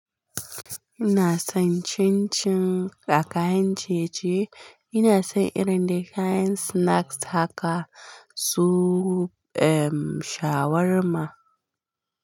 Ina son cin cin da kayan ciye-ciye. Ina son irin da kayan snacks haka su ehmm shawarma.